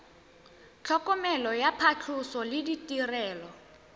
tlhokomelo ya phatlhoso le ditirelo